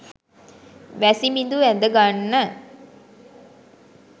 වැසිබිඳු ඇද ගන්න